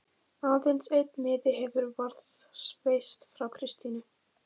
Aðeins einn miði hefur varðveist frá Kristínu